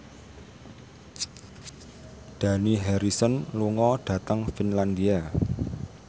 Dani Harrison lunga dhateng Finlandia